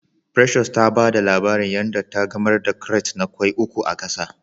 Precious ta ba da labarin yan da ta gamar da krat na Kwai uku a gasa